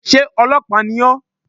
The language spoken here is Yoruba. Sé ọlọ́pàá ni ó?